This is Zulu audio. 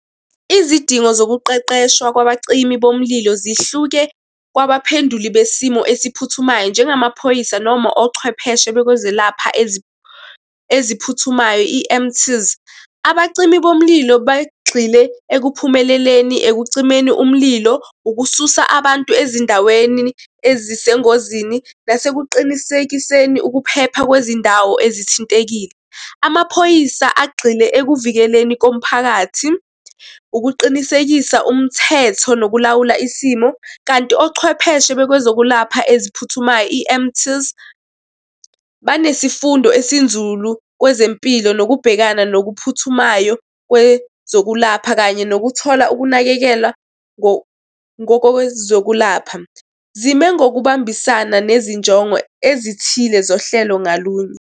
Izidingo zokuqeqeshwa kwabacimi bomlilo zihluke kwabaphenduli besimo esiphuthumayo, njengamaphoyisa noma ochwepheshe bokwezelapha eziphuthumayo E_M_T. Abacimi bomlilo bagxile ekuphumeleleni, ekucimeni umlilo, ukususa abantu ezindaweni ezisengozini, nasekuqinisekiseni ukuphepha kwezindawo ezithintekile. Amaphoyisa agxile ekuvikeleni komphakathi, ukuqinisekisa umthetho, nokulawula isimo, kanti ochwepheshe bekozokwelapha eziphuthumayo E_M_T, banesifundo esinzulu kwezempilo. Nokubhekana nokuphuthumayo kwezokulapha, kanye nokuthola ukunakekela ngokowezokulapha. Zime ngokubambisana nezinjongo ezithile zohlelo ngalunye.